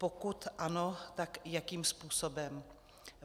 Pokud ano, tak jakým způsobem?